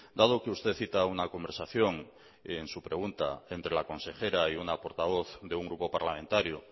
dado que usted cita una conversación en su pregunta entre la consejera y una portavoz de un grupo parlamentario